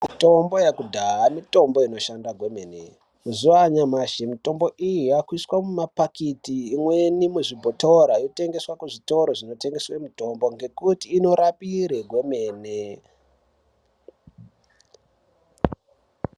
Mitombo yekudhaya mitombo inoshanda kwemene. Mazuva anyamashi mitombo iyi yakuiswa mumapakiti imweni kuzvibhotora yotengeswa kuzvitoro zvinotengeswa mitombo ngekuti inorapira kwemene.